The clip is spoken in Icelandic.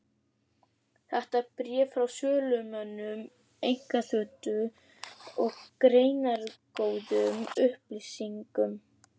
Þetta er bréf frá sölumönnum einkaþotu, með greinargóðum upplýsingum.